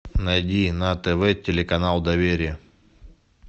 найди на тв телеканал доверие